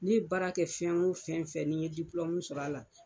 Ne ye baara kɛ fɛn o fɛn fɛ n'i n ye diplɔmu sɔrɔ a la